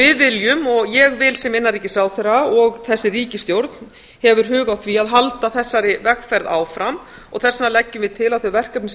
við viljum og ég vil sem innanríkisráðherra og þessi ríkisstjórn hefur hug á því að halda þessari vegferð áfram og þess vegna leggjum við til að þau verkefni sem